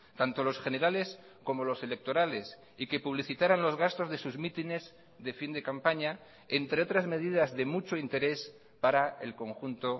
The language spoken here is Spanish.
tanto los generales como los electorales y que publicitaran los gastos de sus mítines de fin de campaña entre otras medidas de mucho interés para el conjunto